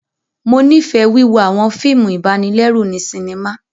Mo nifẹ wíwo awọn fíìmù ibanilẹru ni sinima